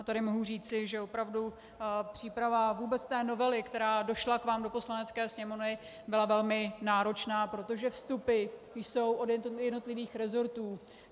A tady mohu říci, že opravdu příprava vůbec té novely, která došla k vám do Poslanecké sněmovny, byla velmi náročná, protože vstupy jsou od jednotlivých rezortů.